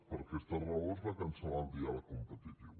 per aquesta raó es va cancel·lar el diàleg competitiu